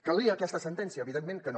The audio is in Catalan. calia aquesta sentència evidentment que no